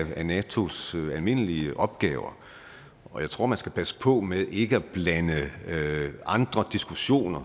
af natos almindelige opgaver og jeg tror man skal passe på med ikke at blande andre diskussioner